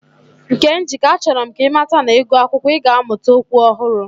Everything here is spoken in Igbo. Nkemjika, achoro m ka imata na, igu akwukwo, i ga amuta okwu ohuru.